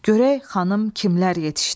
Görək xanım kimlər yetişdi?